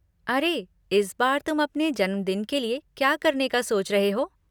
अरे, इस बार तुम अपने जन्मदिन के लिए क्या करने का सोच रहे हो?